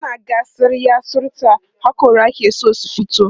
tana gatsa yatsun ta hakora ke San su fito